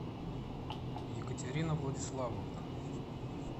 екатерина владиславовна